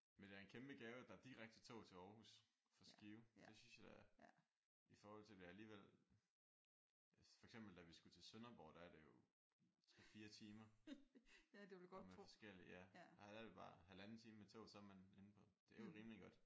Men det er en kæmpe gave at der er direkte tog til Aarhus fra Skive. Det synes jeg da i forhold til at det er alligevel. For eksempel da vi skulle til Sønderborg der er det jo 3 4 timer og med forskelligt. Her er det bare halvanden time med tog så er man inde på. Det er rimelig godt